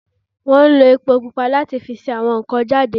Wọ́n ń lo epo pupa láti se àwọn nkàn-an jade